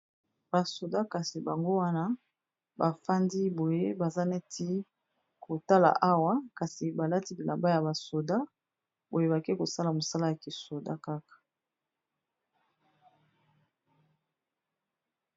basoda kasi bango wana bafandi boye baza neti kotala awa kasi balati lilamba ya basoda boyebaki kosala mosala ya kisoda kaka